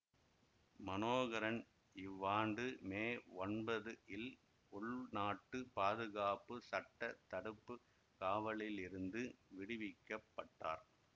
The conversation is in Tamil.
மனோகரன் இவ்வாண்டு மே ஒன்பது இல் உள்நாட்டு பாதுகாப்பு சட்ட தடுப்பு காவலிலிருந்து விடுவிக்க பட்டார்